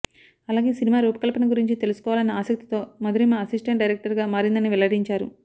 అలాగే సినిమా రూపకల్పన గురించి తెలుసుకోవాలన్న ఆసక్తితో మధురిమ అసిస్టెంట్ డైరెక్టర్ గా మారిందని వెల్లడించాయి